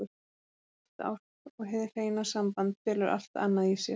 Samstillt ást og hið hreina samband felur allt annað í sér.